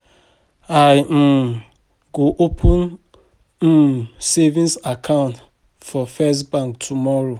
I um wan go open um savings account for first bank tomorrow